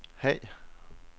Haag